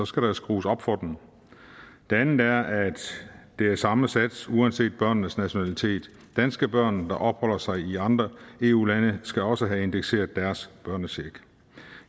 skal der skrues op for den det andet er at det er samme sats uanset børnenes nationalitet danske børn der opholder sig i andre eu lande skal også have indekseret deres børnecheck